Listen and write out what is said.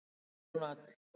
En nú er hún öll.